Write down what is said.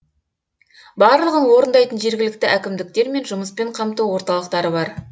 барлығын орындайтын жергілікті әкімдіктер мен жұмыспен қамту орталықтары бар